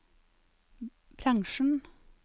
bransjen